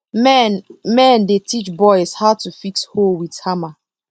men men dey teach boys how to fix hoe with hammer